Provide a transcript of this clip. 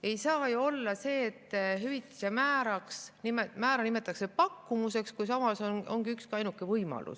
Ei saa ju olla, et hüvitise määra nimetatakse pakkumuseks, kui see ongi üksainuke võimalus.